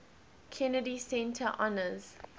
kennedy center honors